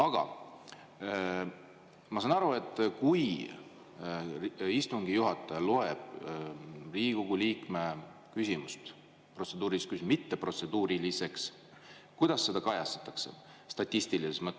Aga kui istungi juhataja loeb Riigikogu liikme küsimuse mitteprotseduuriliseks, kuidas seda siis kajastatakse statistilises mõttes?